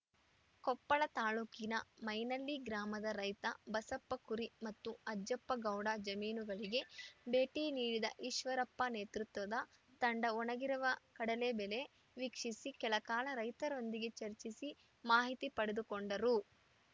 ಕೊಪ್ಪಳ ತಾಲೂಕಿನ ಮೈನಳ್ಳಿ ಗ್ರಾಮದ ರೈತ ಬಸಪ್ಪ ಕುರಿ ಮತ್ತು ಅಜ್ಜಪ್ಪಗೌಡ ಜಮೀನುಗಳಿಗೆ ಭೇಟಿ ನೀಡಿದ ಈಶ್ವರಪ್ಪ ನೇತೃತ್ವದ ತಂಡ ಒಣಗಿರುವ ಕಡಲೆ ಬೆಲೆ ವೀಕ್ಷಿಸಿ ಕೆಲಕಾಲ ರೈತರೊಂದಿಗೆ ಚರ್ಚಿಸಿ ಮಾಹಿತಿ ಪಡೆದುಕೊಂಡರು